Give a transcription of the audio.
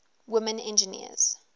women engineers